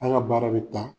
An ka baara bɛ taa